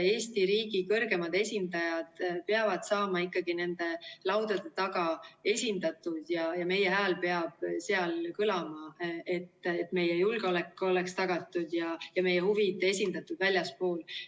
Eesti riigi kõrgemad esindajad peavad olema ikkagi nende laudade taga esindatud ja meie hääl peab seal kõlama, et meie julgeolek oleks tagatud ja meie huvid esindatud väljaspool.